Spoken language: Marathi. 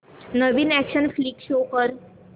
नवीन अॅक्शन फ्लिक शो कर